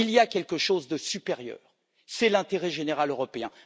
Il y a quelque chose de supérieur c'est l'intérêt général européen.